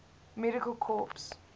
medical corps